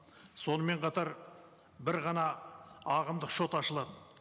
сонымен қатар бір ғана ағымдық шот ашылады